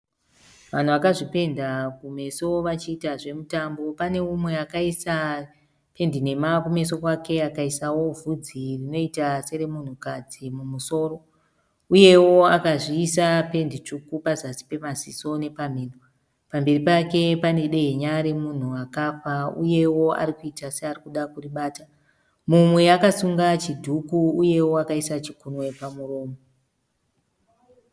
Vanhu vakazvipenda kumeso vachiita zvemutambo. Pane umwe akaisa pendi nhema kumeso kwake, akaisawo vhudzi rinoita seremunhukadzi mumusoro uyewo akazviisa pendi tsvuku pazasi pemaziso nepamhino. Pamberi pake pane dehenya remunhu akafa uyewo arikuita searikuda kuribata. Mumwe akasunga chidhuku uyewo akaisa chikunwe pamuromo.